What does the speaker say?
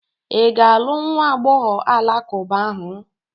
Ị ga-alụ nwa agbọghọ alakụba ahụ?